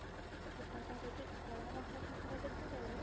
ତମକୁ ଯଦି କଳା ରଙ୍ଗର ଠାକୁର ଦେଖା ଗଲେ